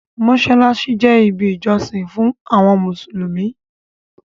Mọ́ṣáláṣí je ibi ìjọsìn fún àwọn mùsùlùmí